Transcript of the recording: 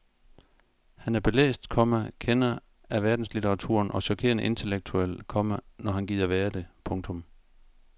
Han er belæst, komma kender af verdenslitteraturen og chokerende intellektuel, komma når han gider være det. punktum